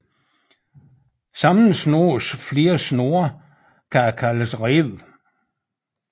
Sammensnoes flere snore kan det kaldes reb